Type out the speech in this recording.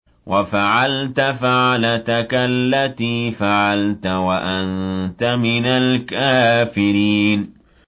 وَفَعَلْتَ فَعْلَتَكَ الَّتِي فَعَلْتَ وَأَنتَ مِنَ الْكَافِرِينَ